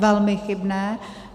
Velmi chybné.